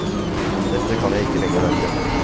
Dette kan jeg ikke lenger være med på.